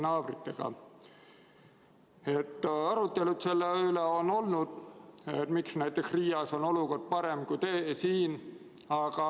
Arutelu on olnud selle üle, miks näiteks Riias on olukord parem kui siin.